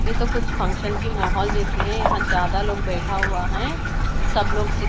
ये तो कुछ फंक्शन की माहौल जैसे हैं यहां ज्यादा लोग बैठा हुआ है सब लोग--